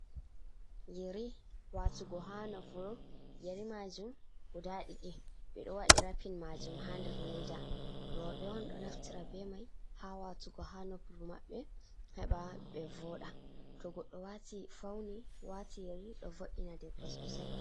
Yeri waatugo haa nofru, yeri maajum guda ɗiɗi, ɓe ɗo waɗi rapin maajum, haa nder leeda. Rowɓe on, ɗo naftira be may, haa waatugo haa nofru maɓɓe, heɓa ɓe vooɗa. To goɗɗo fawni, waati yeri ɗo vo’ina debbo soosay.